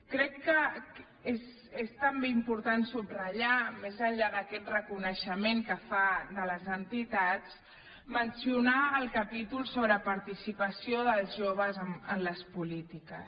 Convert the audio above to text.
crec que és també importat subratllar més enllà d’aquest reconeixement que fa de les entitats mencionar el capítol sobre participació dels joves en les polítiques